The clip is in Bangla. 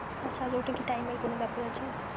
আচ্ছা! ওতে কি time এর কোনো বেপার আছে?